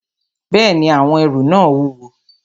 Bẹ́ẹ̀ni, àwọn ẹrù náà wúwo